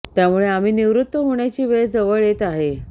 त्यामुळे आम्ही निवृत्त होण्याची वेळ जवळ येत आहे